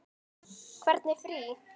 Hvernig frí.